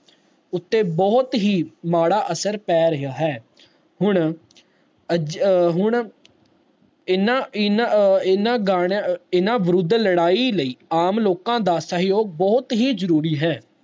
ਉਤੇ ਬਹੁਤ ਹੀ ਮਾੜਾ ਅਸਰ ਪੈ ਰਿਹਾ ਹੈ ਹੁਣ ਅਹ ਹੁਣ ਇੰਨਾ ਅਹ ਇਨਾ ਗਾਣਿਆਂ ਇਨਾ ਵਿਰੁੱਧ ਲੜਾਈ ਆਮ ਲੋਕ ਦਾ ਸਹਿਯੋਗ ਬਹੁਤ ਹੀ ਜਰੂਰੀ ਹੈ